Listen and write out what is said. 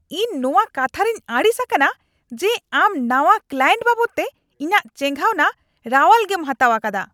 ᱤᱧ ᱱᱚᱣᱟ ᱠᱟᱛᱷᱟᱨᱮᱧ ᱟᱹᱲᱤᱥ ᱟᱠᱟᱱᱟ ᱡᱮ ᱟᱢ ᱱᱟᱶᱟ ᱠᱞᱟᱭᱮᱱᱴ ᱵᱟᱵᱚᱫᱛᱮ ᱤᱧᱟᱹᱜ ᱪᱮᱸᱜᱷᱟᱣᱱᱟ ᱨᱟᱣᱟᱞᱜᱮᱢ ᱦᱟᱛᱟᱣ ᱟᱠᱟᱫᱟ ᱾